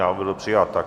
Návrh byl přijat.